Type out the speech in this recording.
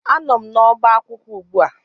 Anọ m n'ọba akwụkwọ ugbua